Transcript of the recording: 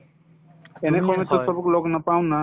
এনেসময়ততো চবক লগ নাপাওঁ না